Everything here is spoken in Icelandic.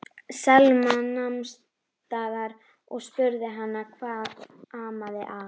Selma nam staðar og spurði hana hvað amaði að.